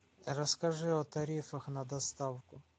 расскажи о тарифах на доставку